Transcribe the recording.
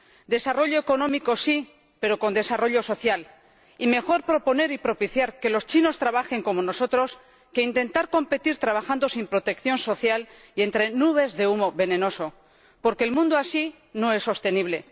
Desarrollo económico sí, pero con desarrollo social. Y mejor proponer y propiciar que los chinos trabajen como nosotros que intentar competir trabajando sin protección social y entre nubes de humo venenoso. Porque el mundo, así, no es sostenible.